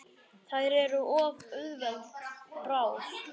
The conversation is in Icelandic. Þær eru of auðveld bráð.